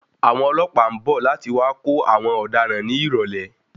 Àwọn ọlọ́pàá ń bọ̀ láti wá kó àwọn ọ̀daràn ní ìrọ̀lẹ́.